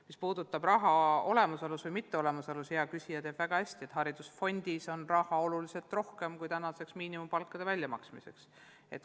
Mis puudutab raha olemasolu või mitteolemasolu, siis hea küsija teab väga hästi, et haridusfondis on raha oluliselt rohkem, kui tänaste miinimumpalkade väljamaksmiseks vaja.